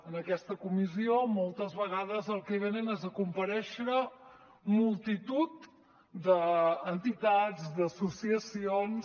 en aquesta comissió moltes vegades el que venen és a comparèixer multitud d’entitats d’associacions